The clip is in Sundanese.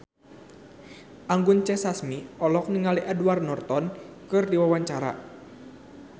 Anggun C. Sasmi olohok ningali Edward Norton keur diwawancara